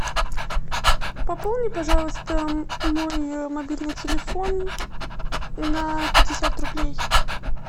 пополни пожалуйста мой мобильный телефон на пятьдесят рублей